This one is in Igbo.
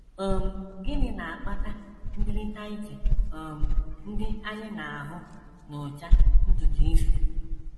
um Gịnị na - akpata ndịrịta iche um ndị anyị na - ahụ n’ụcha ntutu isi?